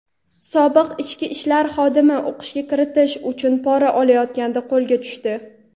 Sobiq ichki ishlar xodimi o‘qishga kiritish uchun pora olayotganda qo‘lga tushdi.